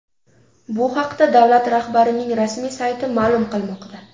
Bu haqda davlat rahbarining rasmiy sayti ma’lum qilmoqda .